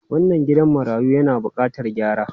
Wannan gidan marayu yana bukatar gyara.